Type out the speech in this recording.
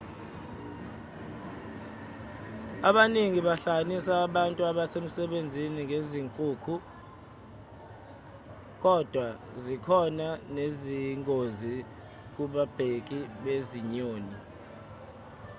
abaningi bahlanganisa abantu abasebenza ngezinkukhu kodwa zikhona nezingozi kubabheki bezinyoni